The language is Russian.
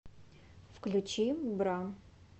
включи бра